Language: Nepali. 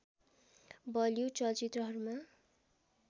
बलिउड चलचित्रहरूमा